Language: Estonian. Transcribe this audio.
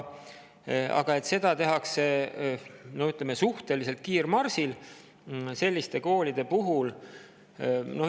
Aga seda tehakse, ütleme, suhteliselt kiirmarsil selliste koolide puhul.